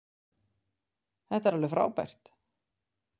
Þetta er alveg frábært.